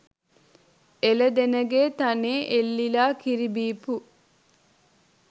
එළදෙනගේ තනේ එල්ලිලා කිරි බීපු